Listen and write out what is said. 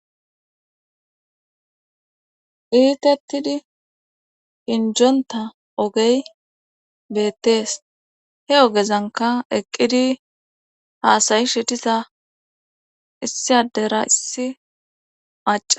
iitettidi hinjonta ogey beettees he ogezanka eqqidi haasayi shitisa issi adera issi maca